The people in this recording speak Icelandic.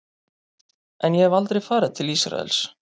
En ég hef aldrei farið til Ísraels.